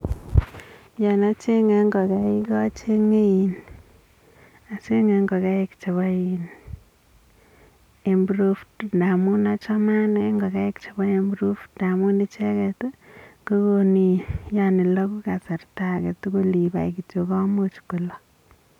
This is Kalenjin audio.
Yaa acheng ingokaik acheng, acheng inn acheng ingogaik che improved amuu achamee anee achamee ingogaik chepo improved amuu icheket kolak kasarta akee tugul ibaii kityok komuch kolak